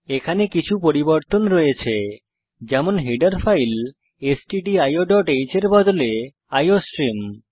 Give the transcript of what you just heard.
এখানে কিছু পরিবর্তন রয়েছে যেমন হেডার ফাইল stdioহ্ এর বদলে আইওস্ট্রিম